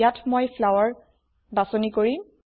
ইয়াত মই ফ্লাৱাৰ বাচনি কৰিম